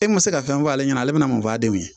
E ma se ka fɛn fɔ ale ɲɛna ale bɛna mun k'a demi